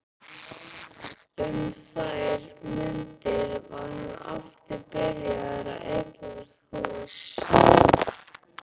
Um þær mundir var hann aftur byrjaður að eignast hús.